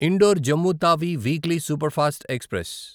indoor Jammu Tawi weekly superfast express